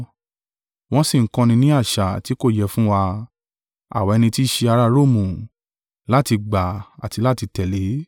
wọ́n sì ń kọ́ni ní àṣà tí kò yẹ fún wa, àwa ẹni tí í ṣe ara Romu, láti gbà àti láti tẹ̀lé.”